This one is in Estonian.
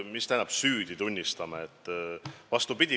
Mis tähendab, et tunnistame süüdi?